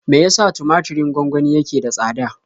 Me ya sa tumaturin gwangwani yake da tsada?